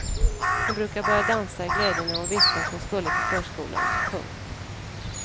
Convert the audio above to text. Hon brukade börja dansa i glädje när hon visste att hon skulle till förskolan. punkt